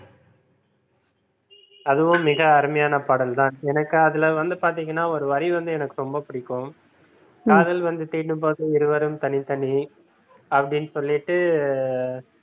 அதுவும் மிக அருமையான பாடல் தான் எனக்கு அதுல வந்து பாத்தீங்கன்னா ஒரு வரி வந்து எனக்கு ரொம்ப பிடிக்கும் காதல் வந்து தீண்டும் போது இருவரும் தனித்தனி அப்படின்னு சொல்லிட்டு